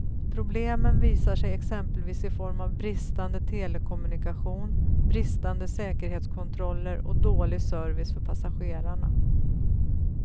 Problemen visar sig exempelvis i form av bristande telekommunikation, bristande säkerhetskontroller och dålig service för passagerarna.